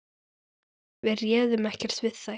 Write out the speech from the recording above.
Við réðum ekkert við þær.